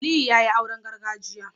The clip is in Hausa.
Aliyu yayi auren gargajiya